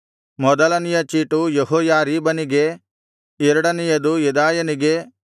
ಮೊದಲನೆಯ ಚೀಟು ಯೆಹೋಯಾರೀಬನಿಗೆ ಎರಡನೆಯದು ಯೆದಾಯನಿಗೆ